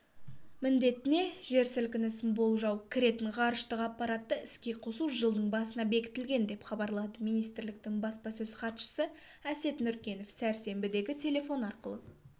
міндетіне жер сілкінісін болжау кіретін ғарыштық аппаратты іске қосу жылдың басына бекітілген деп хабарлады министрліктің баспасөз-хатшысы әсет нүркенов сәрсенбідегі телефон арқылы